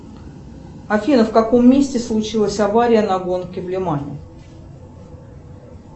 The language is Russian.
афина в каком месте случилась авария на гонке в лимане